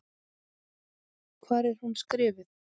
Hvar er hún skrifuð?